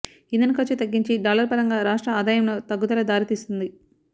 ఇంధన ఖర్చు తగ్గించి డాలర్ పరంగా రాష్ట్ర ఆదాయంలో తగ్గుదల దారితీస్తుంది